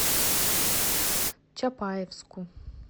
чапаевску